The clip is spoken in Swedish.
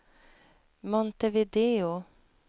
Montevideo